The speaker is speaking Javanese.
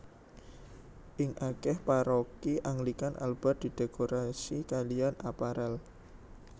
Ing akeh paroki Anglikan alba didekorasi kalian apparel